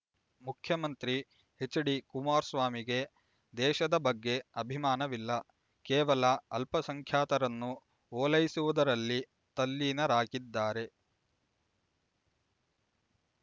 ಮುಖ್ಯಮಂತ್ರಿ ಹೆಚ್ಡಿ ಕುಮಾರಸ್ವಾಮಿಗೆ ದೇಶದ ಬಗ್ಗೆ ಅಭಿಮಾನವಿಲ್ಲ ಕೇವಲ ಅಲ್ಪಸಂಖ್ಯಾತರನ್ನು ಓಲೈಸುವುದರಲ್ಲಿ ತಲ್ಲೀನರಾಗಿದ್ದಾರೆ